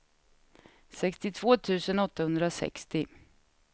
sextiotvå tusen åttahundrasextio